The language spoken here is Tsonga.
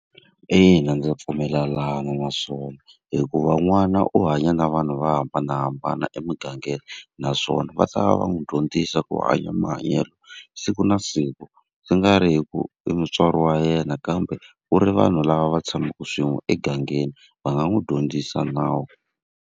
Ina ndza pfumelelana na swona hikuva n'wana u hanya na vanhu vo hambanahambana emugangeni, naswona va ta va va n'wi dyondzisa ku hanya mahanyelo siku na siku. Swi nga ri hi ku i mutswari wa yena kambe ku ri vanhu lava va tshamaka swin'we emugangeni va nga n'wi dyondzisa nawu.